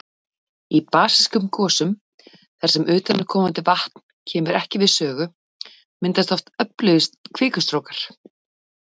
Í basískum gosum þar sem utanaðkomandi vatn kemur ekki við sögu, myndast oft öflugir kvikustrókar.